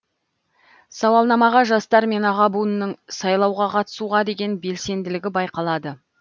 сауалнамаға жастар мен аға буынның сайлауға қатысуға деген белсенділігі байқалады